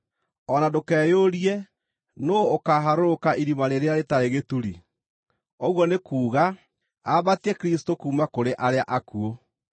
“o na ndũkeyũrie, ‘Nũũ ũkaaharũrũka irima rĩrĩa rĩtarĩ gĩturi?’ ” (ũguo nĩ kuuga, ambatie Kristũ kuuma kũrĩ arĩa akuũ).